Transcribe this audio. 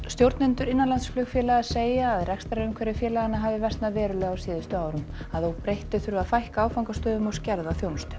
stjórnendur innanlandsflugfélaga segja að rekstrarumhverfi félaganna hafi versnað verulega á síðustu árum að óbreyttu þurfi að fækka áfangastöðum og skerða þjónustu